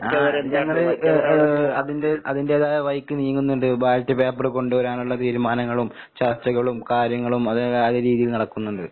ആഹ് ഇതങ്ങട് എഹ് ഏഹ് അതിന്റെ അതിന്റേതായ വഴിക്ക് നീങ്ങുന്നുണ്ട്. ബാലറ്റ് പേപ്പറ് കൊണ്ട് വരാനുള്ള തീരുമാനങ്ങളും ചർച്ചകളും കാര്യങ്ങളും അതൊക്കെ നല്ല രീതീല് നടക്കുന്നുണ്ട്.